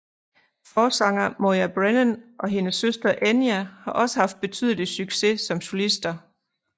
Forsanger Moya Brennan og hendes søster Enya har også haft betydelig succes som solister